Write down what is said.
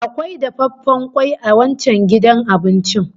Akwai dafaffen kwai a wancan gidan abincin